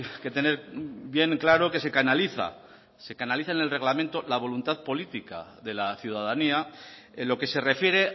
que tener bien claro qué se canaliza se canaliza en el reglamento la voluntad política de la ciudadanía en lo que se refiere